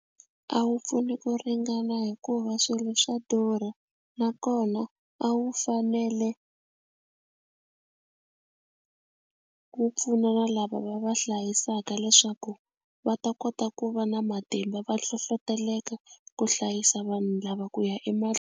A wu pfuni ku ringana hikuva swilo swa durha nakona a wu fanele ku pfuna na lava va va hlayisaka leswaku va ta kota ku va na matimba va hlohloteleka ku hlayisa vanhu lava ku ya .